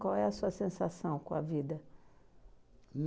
Qual é a sua sensação com a vida?